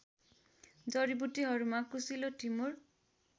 जडीबुटीहरूमा कुसिलो टिमुर